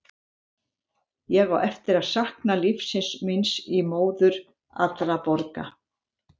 Ég á eftir að sakna lífsins míns í móður allra borga.